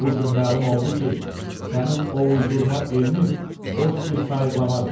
Bu gün məlum oldu ki, sənin o uydurma elmin boş bir sayıqlamadır.